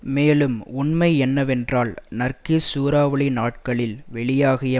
மேலும் உண்மை என்னவென்றால் நர்கீஸ் சூறாவளி நாட்களில் வெளியாகிய